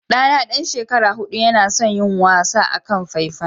Ɗana ɗan shekara huɗu yana son yin wasa akan faifan.